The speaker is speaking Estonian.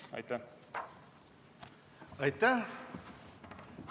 Aitäh!